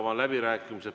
Avan läbirääkimised.